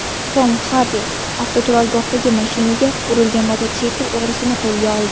Tom Xardi avtoturargohdagi mashinaga urilgan mototsikl o‘g‘risini qo‘lga oldi.